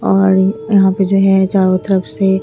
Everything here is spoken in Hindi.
और यहां पे जो है चारों तरफ से--